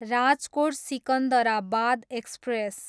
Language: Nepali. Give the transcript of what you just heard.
राजकोट, सिकन्दराबाद एक्सप्रेस